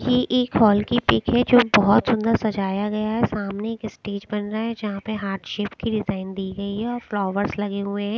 ये एक हॉल की पिक हैं जो बहुत सुंदर सजाया गया है सामने एक स्टेज बन रहा है जहाँ पर हार्ट शेप की डिजाईन दी गयी है और फ्लावर्स लगे हुए हैं ।